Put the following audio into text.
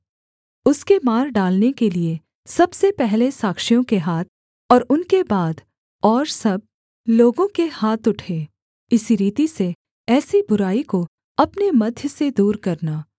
उसके मार डालने के लिये सबसे पहले साक्षियों के हाथ और उनके बाद और सब लोगों के हाथ उठें इसी रीति से ऐसी बुराई को अपने मध्य से दूर करना